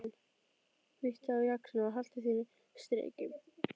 Bíttu á jaxlinn og haltu þínu striki.